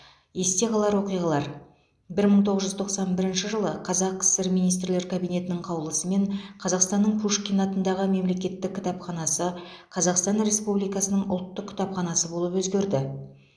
есте қалар оқиғалар бір мың тоғыз жүз тоқсан бірінші жылы қазақ кср министрлер кабинетінің қаулысымен қазақстанның пушкин атындағы мемлекеттік кітапханасы қазақстан республикасының ұлттық кітапханасы болып өзгерді